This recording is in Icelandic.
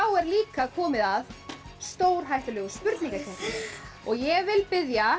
er líka komið að stórhættulegu spurningakeppninni og ég vil biðja